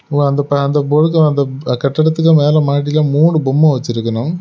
கட்டடத்துக்கு மேல மாடியில மூணு பொம்மெ வச்சிருக்கணும்.